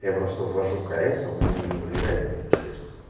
я просто ввожу кс а у меня не вылезает один и шесть